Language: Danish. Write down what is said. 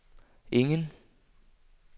ingen